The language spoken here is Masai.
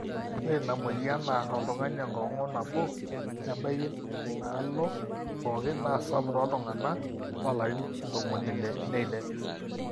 ore inamweyian naar oltung'ani enkong'u nabo nebaiki inaaloo pooki naa sapuk tooltung'anak loolarin ntomoni ile neilep